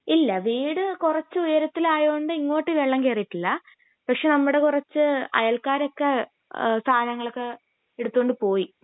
ഇല്ല വീട് കുറച്ച് ഉയരത്തിൽ ആയോണ്ട് ഇങ്ങോട്ട് വെള്ളം കേറീട്ടില്ല പക്ഷെ നമ്മുടെ കുറച്ച് അയൽക്കാരൊക്കെ അഹ് സാനങ്ങളൊക്കെ എടുത്തോണ്ട് പോയി